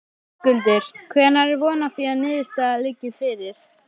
Höskuldur: Hvenær er von á því að niðurstaða liggi fyrir?